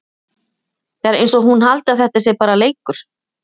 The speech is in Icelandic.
Það er eins og hún haldi að þetta sé bara leikur!